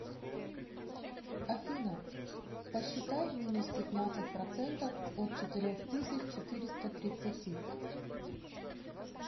афина посчитай минус пятнадцать процентов от четырех тысяч четыреста тридцати